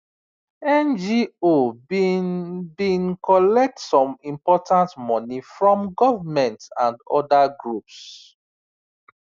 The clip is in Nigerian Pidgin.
ngo been been collect some important money from government and other groups